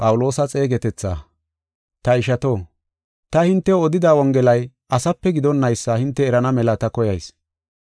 Ta ishato, ta hintew odida Wongelay asape gidonnaysa hinte erana mela ta koyayis.